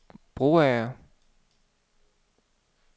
Broager